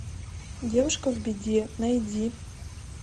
девушка в беде найди